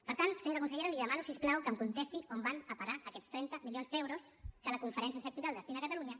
per tant senyora consellera li demano si us plau que em contesti on van a parar aquests trenta milions d’euros que la conferència sectorial destina a catalunya